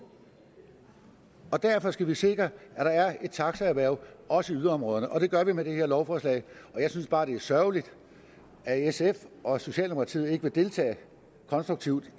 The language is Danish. derfor skal vi sikre at der er et taxaerhverv også i yderområderne og det gør vi med det her lovforslag jeg synes bare det er sørgeligt at sf og socialdemokratiet ikke vil deltage konstruktivt